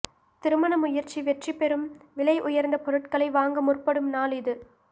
திருமண முயற்சி வெற்றிபெறும் விலை உயர்ந்த பொருட்களை வாங்க முற்படும் நாள் இது